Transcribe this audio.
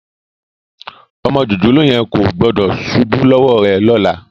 Ọmọ jòjòló yẹn kò gbọ́dọ̀ ṣubú lọ́wọ́ rẹ lọ́la